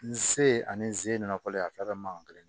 N se ani n se nakɔlen a fɛn fɛn ma kelen